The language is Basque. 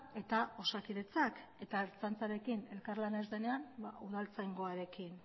eta osakidetzak eta ertzaintzarekin elkarlana ez denean ba udaltzaingoarekin